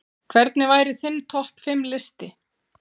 Hvernig væri þinn topp fimm listi?